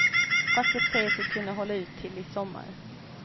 Facket säger sig kunna hålla ut till i sommar.